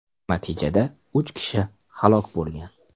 Natijada uch kishi halok bo‘lgan.